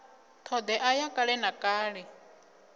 thodea ya kale na kale